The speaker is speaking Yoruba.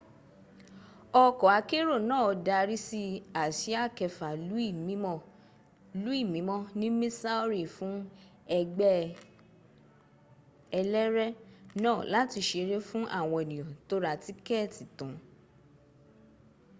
okò akẹ́rò náà darí sí àsíà kẹfà louis mímó ní missouri fùn ẹgbẹ́ ẹlẹ́rẹ́ náà láti sẹrẹ̀ fún àwọn ènìyàn tó rà tikeeti tan